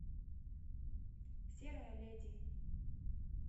серая леди